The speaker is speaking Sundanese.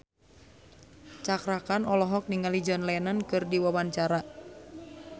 Cakra Khan olohok ningali John Lennon keur diwawancara